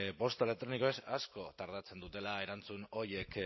posta elektronikoz asko tardatzen dutela erantzun horiek